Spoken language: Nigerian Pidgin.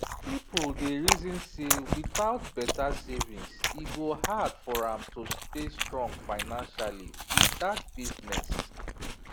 people dey reason say without better savings e go hard for am to stay strong financially with that business